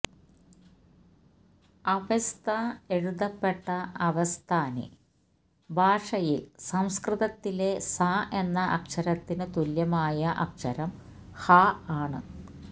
Avesta എഴുതപ്പെട്ട അവെസ്താന് ഭാഷയില് സംസ്കൃതത്തിലെ സ എന്ന അക്ഷരത്തിനു തുല്യമായ അക്ഷരം ഹ ആണ്